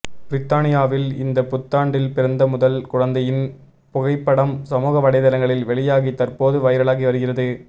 பிரித்தானியாவில் இந்த புத்தாண்டில் பிறந்த முதல் குழந்தையின் புகைப்படம் சமூக வலைத்தளங்களில் வெளியாகி தற்போது வைரலாகி வருகிறது